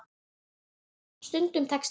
Stundum tekst það.